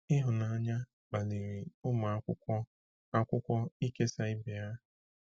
Ịhụnanya kpaliri ụmụ akwụkwọ akwụkwọ ịkesa ibe ha.